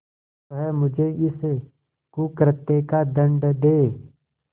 वह मुझे इस कुकृत्य का दंड दे